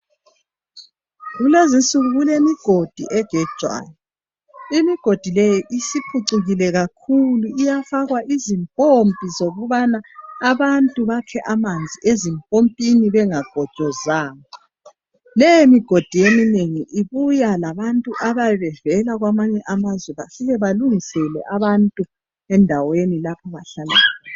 Kulezinsuku kulemigodi egejwayo. Imigodi leyi isipucikile kakhulu iyafakwa izimpompi zokubana abantu bakhe amanzi ezimpompini bengabhobozanga le mugodi eminengi ibuya labantu abayabe bevela kwamanye amazwe bafike balungisele abantu endaweni lapho abahlala khona .